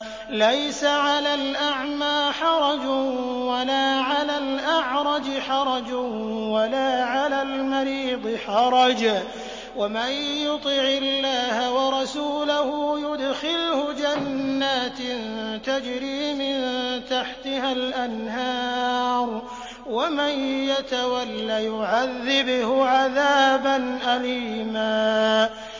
لَّيْسَ عَلَى الْأَعْمَىٰ حَرَجٌ وَلَا عَلَى الْأَعْرَجِ حَرَجٌ وَلَا عَلَى الْمَرِيضِ حَرَجٌ ۗ وَمَن يُطِعِ اللَّهَ وَرَسُولَهُ يُدْخِلْهُ جَنَّاتٍ تَجْرِي مِن تَحْتِهَا الْأَنْهَارُ ۖ وَمَن يَتَوَلَّ يُعَذِّبْهُ عَذَابًا أَلِيمًا